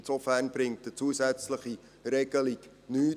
Insofern bringt eine zusätzliche Regelung nichts.